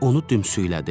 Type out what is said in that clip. Onu dümsüylədi.